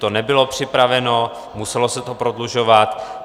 To nebylo připraveno, muselo se to prodlužovat.